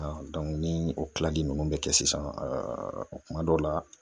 ni o kilali ninnu bɛ kɛ sisan kuma dɔw la